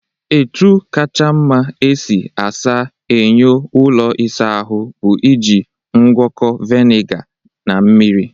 Etu kacha mma esi asa enyo ụlọ isa ahụ bụ iji ngwọkọ vinega na mmiri.